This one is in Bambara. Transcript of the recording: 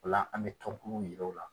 O la an bɛ tɔnkulu yiro u la